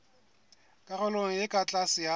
karolong e ka tlase ya